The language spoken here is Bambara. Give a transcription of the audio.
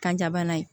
Kanja bana ye